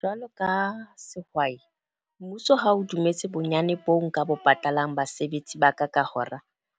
Jwalo ka sehwai, mmuso ha o dumetse bonyane boo nka bo patalang, basebetsi ba ka ka hora.